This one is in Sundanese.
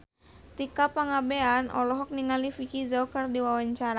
Tika Pangabean olohok ningali Vicki Zao keur diwawancara